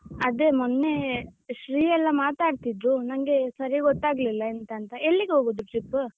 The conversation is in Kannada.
ಅದೇ ಮೊನ್ನೇ ಶ್ರೀ ಎಲ್ಲಾ ಮಾತಾಡ್ತಿದ್ರು ನಂಗೇ ಸರಿ ಗೊತ್ತಾಗ್ಲಿಲ್ಲ ಎಂತಾಂತ ಎಲ್ಲಿಗ್ ಹೋಗುದು trip ?